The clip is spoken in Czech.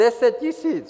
Deset tisíc!